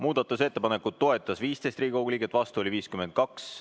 Muudatusettepanekut toetas 15 Riigikogu liiget, vastu oli 52.